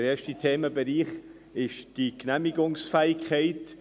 Der erste Themenbereich ist die Genehmigungsfähigkeit.